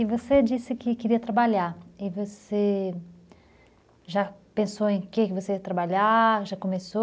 E você disse que queria trabalhar, e você já pensou em que você ia trabalhar, já começou?